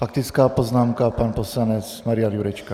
Faktická poznámka - pan poslanec Marian Jurečka.